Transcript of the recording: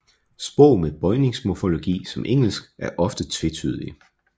Sprog med bøjningsmorfologi som Engelsk er ofte tvetydige